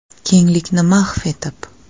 Kenglikni mahv etib!